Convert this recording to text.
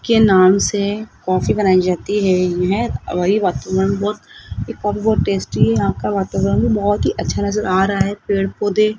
के नाम से कॉफ़ी बनाई जाती हैं यहं वातावरण बहोत टेस्टी है यहां का वातावरण बहोत ही अच्छा नजर आ रहा है पेड़-पौधे --